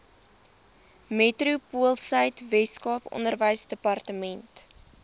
metropoolsuid weskaap onderwysdepartement